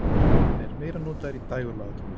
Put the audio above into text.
Hann er meira notaður í dægurlagatónlist.